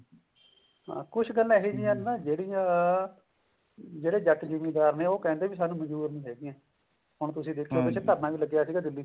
ਕੁੱਝ ਗੱਲਾਂ ਇਹੋ ਜਿਹੀਆਂ ਨੇ ਨਾ ਜਿਹੜੀਆਂ ਜਿਹੜੇ ਜੱਟ ਜਿਮੀਦਾਰ ਦੇ ਉਹ ਕਹਿੰਦੇ ਸਾਨੂੰ ਮਨਜ਼ੂਰ ਨੀ ਹੈਗੀਆਂ ਹੁਣ ਤੁਸੀਂ ਦੇਖੋ ਪਿੱਛੇ ਧਰਨਾ ਲੱਗਿਆ ਸੀ ਦਿੱਲੀ